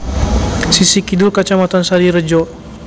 Sisih kidul Kacamatan Sarirejo